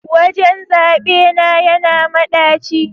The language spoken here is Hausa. wajen zaɓe na yana madaci